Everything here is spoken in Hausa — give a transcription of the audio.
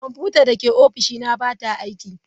Kwamfutar da ke ofishina ba ta aiki.